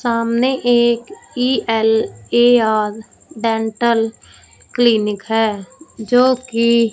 सामने एक E L A R dental clinic है जो की--